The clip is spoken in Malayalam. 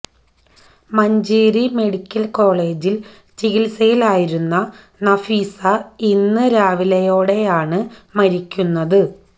മഞ്ചേരി മെഡിക്കൽ കോളജിൽ ചികിത്സയിലായിരുന്ന നഫീസ ഇന്ന് രാവിലെയോടെയാണ് മരിക്കുന്നത്